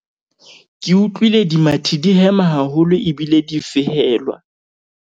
ke utlwile dimathi di hema haholo ebile di fehelwa